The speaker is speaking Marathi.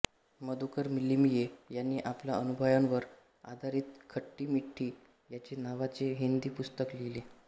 मधुकर लिमये यांनी आपल्या अनुभवांवर आधरित खट्टी मिठ्ठी यादे नावाचे हिंदी पुस्तक लिहिले आहे